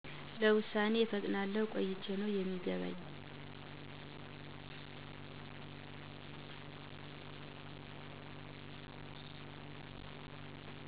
ለውሳኔ እፈጥናለሁ ቆይቸ ነው የሚገባኝ